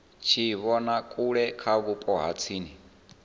tshivhonakule kha vhupo ha tsini